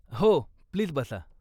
हो, प्लीज बसा.